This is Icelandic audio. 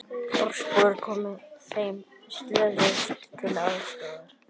Þorpsbúar komu þeim slösuðust til aðstoðar